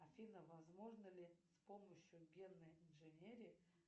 афина возможно ли с помощью генной инженерии